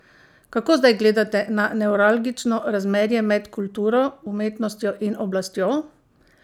Kako zdaj gledate na nevralgično razmerje med kulturo, umetnostjo in oblastjo?